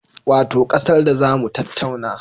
Wato ƙasar da za mu tattauna